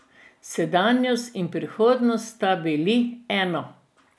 Sedanjost in prihodnost sta bili eno.